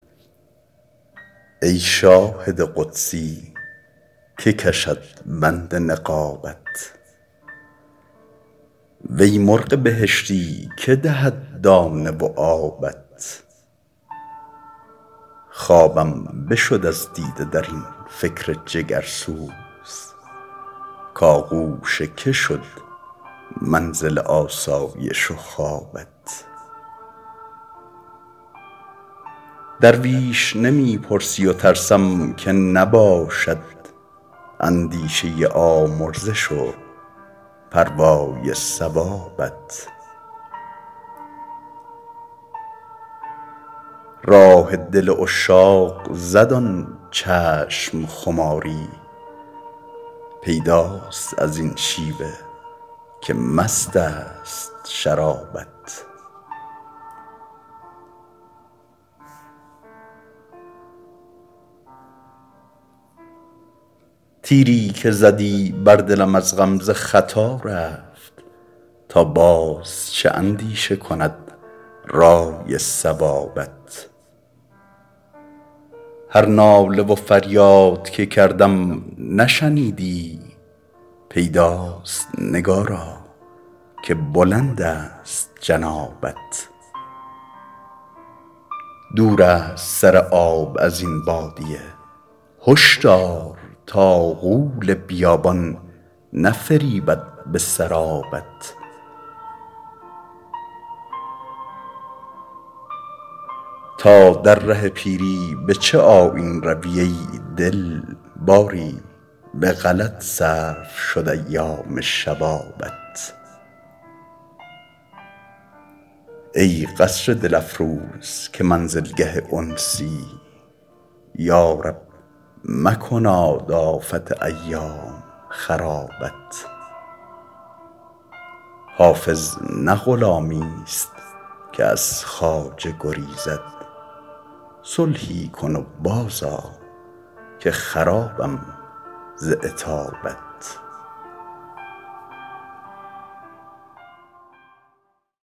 ای شاهد قدسی که کشد بند نقابت وی مرغ بهشتی که دهد دانه و آبت خوابم بشد از دیده در این فکر جگرسوز کآغوش که شد منزل آسایش و خوابت درویش نمی پرسی و ترسم که نباشد اندیشه آمرزش و پروای ثوابت راه دل عشاق زد آن چشم خماری پیداست از این شیوه که مست است شرابت تیری که زدی بر دلم از غمزه خطا رفت تا باز چه اندیشه کند رأی صوابت هر ناله و فریاد که کردم نشنیدی پیداست نگارا که بلند است جنابت دور است سر آب از این بادیه هشدار تا غول بیابان نفریبد به سرابت تا در ره پیری به چه آیین روی ای دل باری به غلط صرف شد ایام شبابت ای قصر دل افروز که منزلگه انسی یا رب مکناد آفت ایام خرابت حافظ نه غلامیست که از خواجه گریزد صلحی کن و بازآ که خرابم ز عتابت